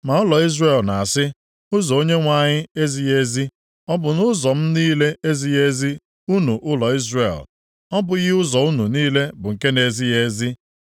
Ma ụlọ Izrel na-asị, ‘Ụzọ Onyenwe anyị ezighị ezi!’ Ọ bụ nʼụzọ m niile ezighị ezi, unu ụlọ Izrel? Ọ bụghị ụzọ unu niile bụ nke na-ezighị ezi?